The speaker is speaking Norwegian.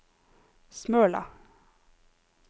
Smøla